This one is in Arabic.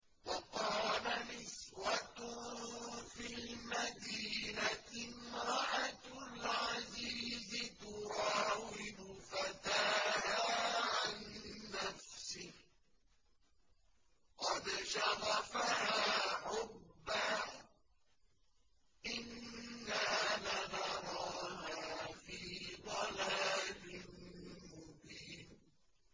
۞ وَقَالَ نِسْوَةٌ فِي الْمَدِينَةِ امْرَأَتُ الْعَزِيزِ تُرَاوِدُ فَتَاهَا عَن نَّفْسِهِ ۖ قَدْ شَغَفَهَا حُبًّا ۖ إِنَّا لَنَرَاهَا فِي ضَلَالٍ مُّبِينٍ